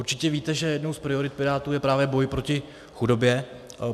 Určitě víte, že jednou z priorit Pirátů je právě boj proti chudobě.